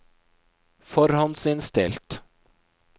forhåndsinnstilt